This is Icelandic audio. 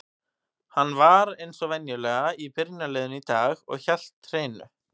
Hann var eins og venjulega í byrjunarliðinu í dag og hélt hreinu.